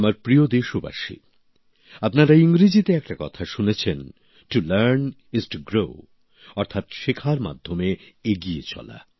আমার প্রিয় দেশবাসী আপনারা ইংরেজিতে একটা কথা শুনেছেন to learn is to grow অর্থাৎ শেখার মাধ্যমে এগিয়ে চলা